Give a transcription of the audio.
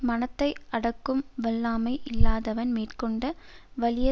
மனத்தை அடக்கும் வல்லாமை இல்லாதவன் மேற்கொண்ட வலிய